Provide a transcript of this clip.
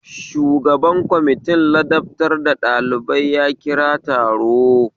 Shugaban kwamitina ladabtar da ɗalibai ya kira taro